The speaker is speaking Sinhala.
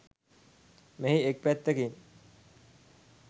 මෙහි එක් පැත්තකින්